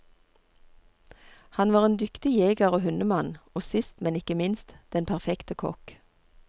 Han var en dyktig jeger og hundemann, og sist men ikke minst den perfekte kokk.